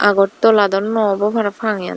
Agartala dow noobow parapang eyan.